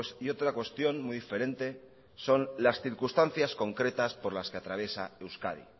y otra cuestión muy diferente son las circunstancias concretar por las que atraviesa euskadi